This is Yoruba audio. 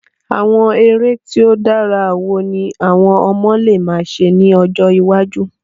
Àwon eré ti o dára wo ni àwon ọmọ le ma se ni ojọ́ iwájú?